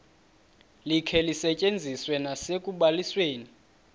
likhe lisetyenziswe nasekubalisweni